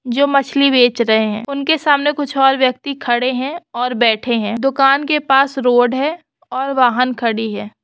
जो मछली बेच रहे हैंउनके सामने कुछ और व्यक्ति खड़े हैंऔर बैठे हैं दुकान के पास रोड है और वाहन खड़ी है ।